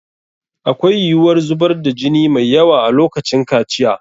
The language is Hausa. Akwai yiwuwar zubar da jini mai yawa a lokacin kaciya.